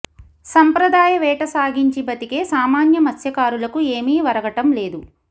సంప్రదాయ వేట సాగించి బతికే సామాన్య మత్స్య కారులకు ఏమీ ఒరగటం లేదు